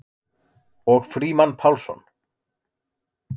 Og Frímann Pálsson.